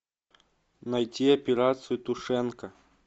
найти операцию тушенка